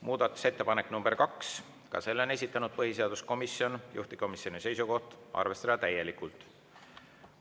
Muudatusettepanek nr 2, ka selle on esitanud põhiseaduskomisjon, juhtivkomisjoni seisukoht: arvestada täielikult.